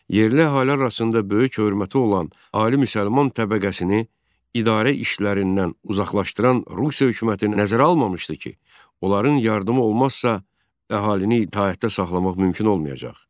Yerli əhali arasında böyük hörməti olan ali müsəlman təbəqəsini idarə işlərindən uzaqlaşdıran Rusiya hökuməti nəzərə almamışdı ki, onların yardımı olmazsa, əhalini itaətdə saxlamaq mümkün olmayacaq.